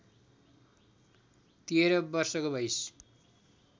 १३ वर्षको भइस्